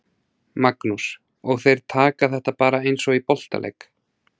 Magnús: Og þeir taka þetta bara eins og í boltaleik?